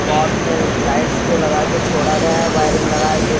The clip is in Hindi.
पॉट्स में लाइट्स को लगाकर छोड़ गया वायरिंग लगाके--